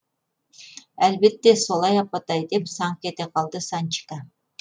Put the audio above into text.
әлбетте солай апатай деп саңқ ете қалды санчика